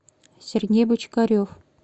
сергей бочкарев